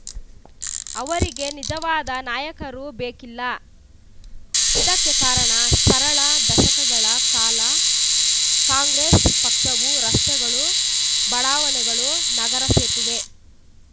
ಅವರಿಗೆ ನಿಜವಾದ ನಾಯಕರು ಬೇಕಿಲ್ಲ ಇದಕ್ಕೆ ಕಾರಣ ಸರಳ ದಶಕಗಳ ಕಾಲ ಕಾಂಗ್ರೆಸ್‌ ಪಕ್ಷವು ರಸ್ತೆಗಳು ಬಡಾವಣೆಗಳು ನಗರ ಸೇತುವೆ